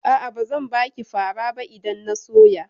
A'a, bazan baki fara ba idan na soya.